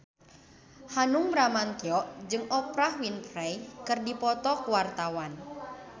Hanung Bramantyo jeung Oprah Winfrey keur dipoto ku wartawan